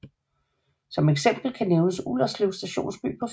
Som eksempel kan nævnes Ullerslev stationsby på Fyn